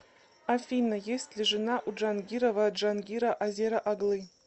афина есть ли жена у джангирова джангира азера оглы